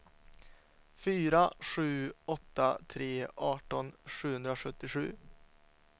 fyra sju åtta tre arton sjuhundrasjuttiosju